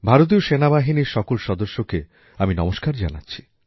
ভারতীয় সেনাবাহিনীর সকল সদস্যকে আমি প্রনাম জানাচ্ছি